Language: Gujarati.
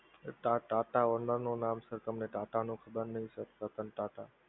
sir TATA owner નું નામ sir તમને TATA નું ખબર નહીં sir? રતન ટાટા